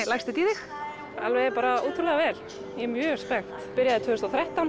leggst þetta í þig alveg ótrúlega vel ég er mjög spennt ég byrjaði tvö þúsund og þrettán